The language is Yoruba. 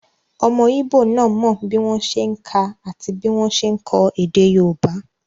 Ọmọ íbò náà mọ bí wọ́n ṣe n kà àti bí wọ́n ṣe n kọ èdè yóòbá